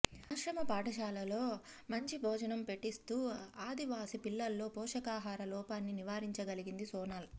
ఆశ్రమ పాఠశాలల్లో మంచి భోజనం పెట్టిస్తూ ఆదివాసీ పిల్లల్లో పోషకాహార లోపాన్ని నివారించగలిగింది సోనాల్